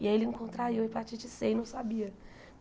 E aí ele encontraiu hepatite Cê e não sabia.